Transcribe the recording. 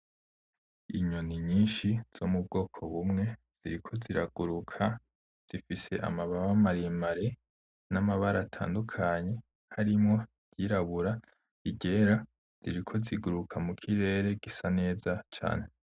Inyoni nyinshi zo mubwoko bumwe ziriko ziraguruka zifise amababa maremare namabara atandukanye , harimwo iryirabura iryera ziriko ziraguruka mukirere gisa neza cane .